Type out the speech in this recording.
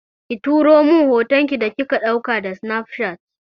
Ki turo min hoton ki da kika ɗauka da sinafcat.